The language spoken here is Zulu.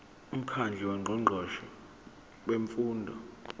umkhandlu wongqongqoshe bemfundo